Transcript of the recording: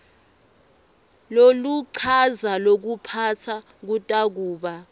loluchaza lokuphatsa kutakuba